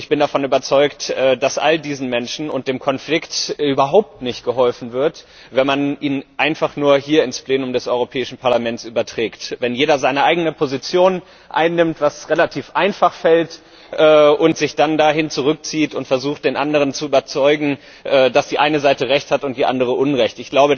Ich bin davon überzeugt, dass all diesen Menschen und dem Konflikt überhaupt nicht geholfen wird, wenn man ihn einfach nur hier ins Plenum des Europäischen Parlaments überträgt, wenn jeder seine eigene Position einnimmt was relativ einfach fällt und sich dann dahin zurückzieht und versucht, den anderen zu überzeugen, dass die eine Seite recht hat und die andere unrecht.